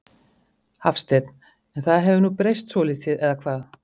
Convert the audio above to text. Hafsteinn: En það hefur nú breyst svolítið eða hvað?